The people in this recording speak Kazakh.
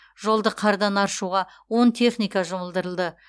жолды қардан аршуға он техника жұмылдырылды